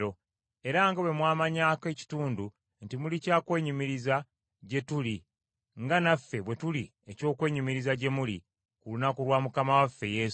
era nga bwe mwamanyako ekitundu nti muli kya kwenyumiriza gye tuli nga naffe bwe tuli eky’okwenyumiriza gye muli ku lunaku lwa Mukama waffe Yesu.